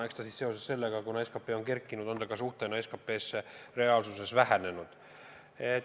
Eks see ole seoses sellega, et SKP on kerkinud, SKP võrdluses suhtena vähenenud.